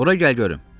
Bura gəl görüm!